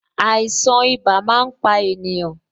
Àìsàn ibà máa ń pa ènìyàn